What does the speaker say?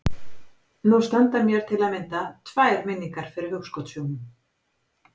Nú standa mér til að mynda tvær minningar fyrir hugskotssjónum.